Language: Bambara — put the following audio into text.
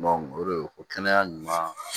o de ye o kɛnɛya ɲuman